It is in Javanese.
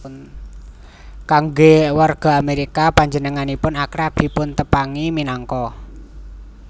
Kanggé warga Amérika panjenenganipun akrab dipuntepangi minangka